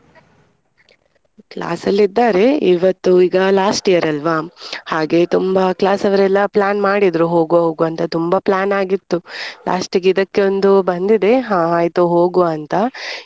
Class ಲಿದ್ದಾರೆ ಇವತ್ತು ಈಗ last year ಅಲ್ವಾ ಹಾಗೆ ತುಂಬಾ class ಅವರೆಲ್ಲ plan ಮಾಡಿದ್ರು ಹೋಗುವ ಹೋಗುವ ಅಂತ ತುಂಬಾ plan ಆಗಿತ್ತು last ಗೆ ಇದಕ್ಕೊಂದು ಬಂದಿದೆ ಹಾ ಆಯ್ತು ಹೋಗುವ ಅಂತ.